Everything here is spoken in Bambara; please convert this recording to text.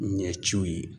Ɲɛciw ye